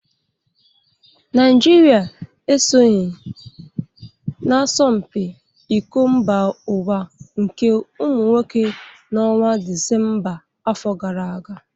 Naijiria esonyeghị n'asọmpi iko mba ụwa nke ụmụ nwoke n' ọnwa Dịsemba afọ gara aga